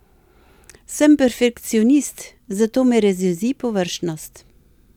Sem perfekcionist, zato me razjezi površnost.